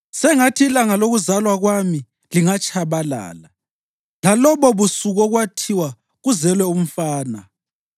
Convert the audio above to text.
“Sengathi ilanga lokuzalwa kwami lingatshabalala, lalobobusuku okwathiwa, ‘Kuzelwe umfana!’